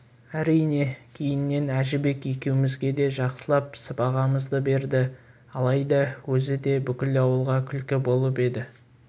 әрине кейіннен әжібек екеумізге де жақсылап сыбағамызды берді алайда өзі де бүкіл ауылға күлкі болып еді